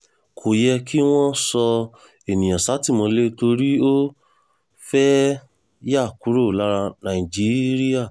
kò yẹ kí wọ́n sọ èèyàn sátìmọ́lé torí ó fẹ́ẹ́ yà kúrò lára nàìjíríà